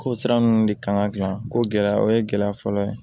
Ko sira ninnu de kan ka gilan ko gɛlɛya o ye gɛlɛya fɔlɔ ye